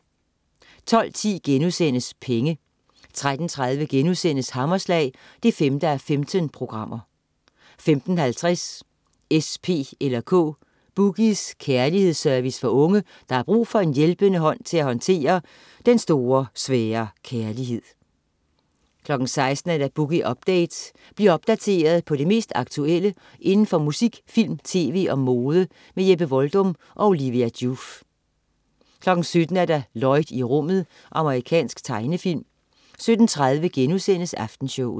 12.10 Penge* 13.30 Hammerslag 5:15* 15.50 S, P eller K. "Boogies" kærlighedsservice for unge, der har brug for en hjælpende hånd til at håndtere den store, svære kærlighed 16.00 Boogie Update. Bliv opdateret på det mest aktuelle inden for musik, film, tv og mode. Jeppe Voldum og Olivia Joof 17.00 Lloyd i rummet. Amerikansk tegnefilm 17.30 Aftenshowet*